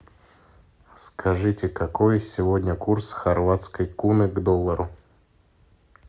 скажите какой сегодня курс хорватской куны к доллару